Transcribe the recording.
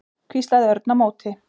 hvíslaði Örn á móti.